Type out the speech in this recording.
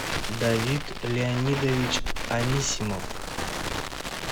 давид леонидович анисимов